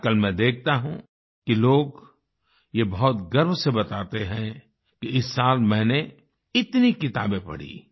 आजकल मैं देखता हूं कि लोग ये बहुत गर्व से बताते हैं कि इस साल मैंने इतनी किताबें पढ़ीं